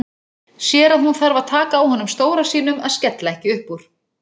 Sér að hún þarf að taka á honum stóra sínum að skella ekki upp úr.